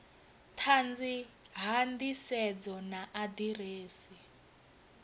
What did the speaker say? ṱanzi ha nḓisedzo na aḓirese